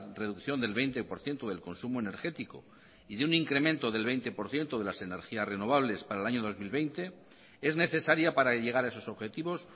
reducción del veinte por ciento del consumo energético y de un incremento del veinte por ciento de las energías renovables para el año dos mil veinte es necesaria para llegar a esos objetivos